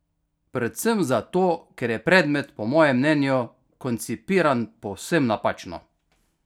Predvsem zato, ker je predmet po mojem mnenju koncipiran povsem napačno!